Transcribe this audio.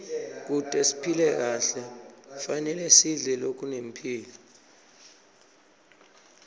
kute siphile kahle kufanele sidle lokunemphilo